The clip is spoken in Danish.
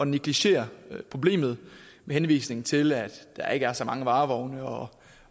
negligere problemet med henvisning til at der ikke er så mange varevogne og